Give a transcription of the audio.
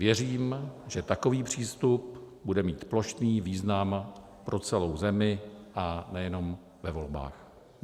Věřím, že takový přístup bude mít plošný význam pro celou zemi, a nejenom ve volbách.